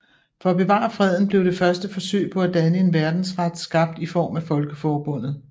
For at bevare freden blev det første forsøg på at danne en verdensret skabt i form af Folkeforbundet